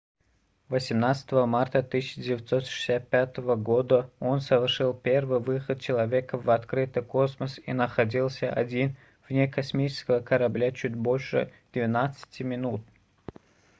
18 марта 1965 года он совершил первый выход человека в открытый космос и находился один вне космического корабля чуть больше 12-ти минут